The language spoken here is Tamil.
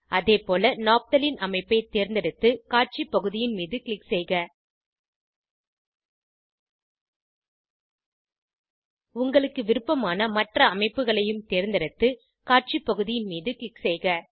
அதேபோல நாப்தலின்Naphtalene அமைப்பை தேர்ந்தெடுத்து காட்சி பகுதியின் மீது க்ளிக் செய்க உங்களுக்கு விருப்பமான மற்ற அமைப்புகளையும் தேர்ந்தெடுத்து காட்சி பகுதியின் மீது க்ளிக் செய்க